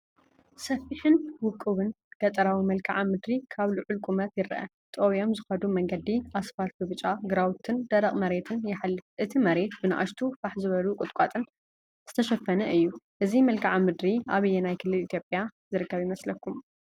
ሰፊሕን ውቁብን ገጠራዊ መልክዓ ምድሪ ካብ ልዑል ቁመት ይርአ። ጠውዮም ዝኸዱ መንገዲ ኣስፋልት ብብጫ፣ ግራውትን ደረቕ መሬትን ይሓልፍ። እቲ መሬት ብንኣሽቱ ፋሕ ዝበሉ ቁጥቋጥን ዝተሸፈነ እዩ። እዚ መልክዓ ምድሪ ኣብ ኣየናይ ክልል ኢትዮጵያ ይርከብ ይመስለኩም?